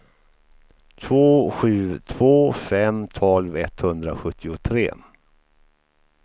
två sju två fem tolv etthundrasjuttiotre